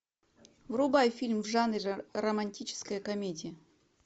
врубай фильм в жанре романтическая комедия